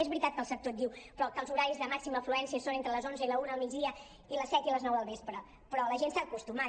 és veritat que el sector diu però que els horaris de màxima afluència són entre les onze i la una del migdia i les set i les nou del vespre però la gent s’hi ha acostumat